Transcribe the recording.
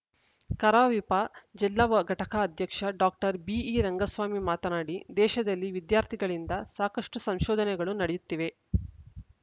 ಕರಾವಿಪ ಜಿಲ್ಲಾ ವಘಟಕ ಅಧ್ಯಕ್ಷ ಡಾಕ್ಟರ್ ಬಿಇರಂಗಸ್ವಾಮಿ ಮಾತನಾಡಿ ದೇಶದಲ್ಲಿ ವಿದ್ಯಾರ್ಥಿಗಳಿಂದ ಸಾಕಷ್ಟುಸಂಶೋಧನೆಗಳು ನಡೆಯುತ್ತಿವೆ